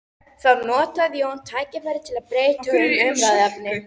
Þá notaði Jón tækifærið til að breyta um umræðuefni.